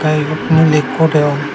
tey ibot miley ikko degong.